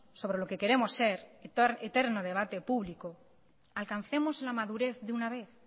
sobre lo que queremos ser eterno debate público alcancemos la madurez de una vez